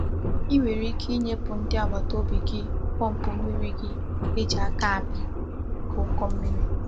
I nwere ike inyepu ndi agbataobi gi pump mmiri gi e ji aka API, n'oge uko mmiri.